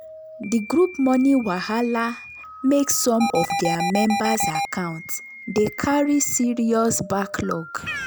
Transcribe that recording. the group money wahala make some of their members accounts dey carry serious backlog.